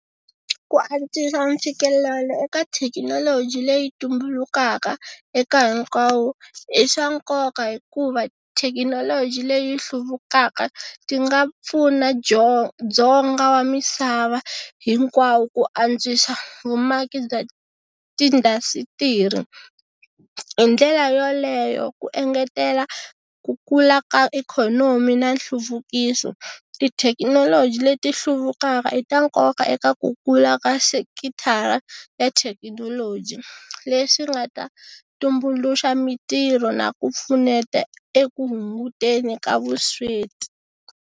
Ku antswisa mfikelelo eka thekinoloji leyi tumbulukaka eka hinkwawo i swa nkoka hikuva thekinoloji leyi hluvukaka ti nga pfuna dzonga wa misava hinkwawo ku antswisa vumaki bya tindhasitiri hi ndlela yoleyo ku engetela ku kula ka ikhonomi na nhluvukiso, tithekinoloji leti hluvukaka i ta nkoka ka ekakula ka sekithara ya thekinoloji leswi nga ta tumbuluxa mintirho na ku pfuneta eku hunguteni ka vusweti.